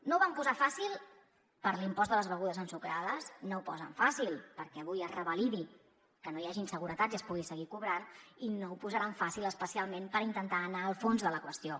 no ho van posar fàcil per a l’impost de les begudes ensucrades no ho posen fàcil perquè avui es revalidi que no hi hagi inseguretats i es pugui seguir cobrant i no ho posaran fàcil especialment per intentar anar al fons de la qüestió